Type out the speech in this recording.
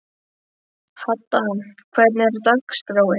Hadda, hvernig er dagskráin?